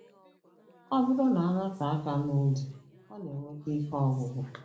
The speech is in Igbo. Ọ bụrụ na-anọte aka nụdị ọ na-eweta ike ọgwụgwụ.